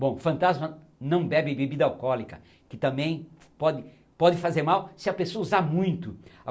Bom, fantasma não bebe bebida alcoólica, que também pode pode fazer mal se a pessoa usar muito.